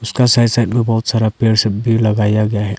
उसका side side में बहोत सारा पेड़ सब भी लगाया गया है।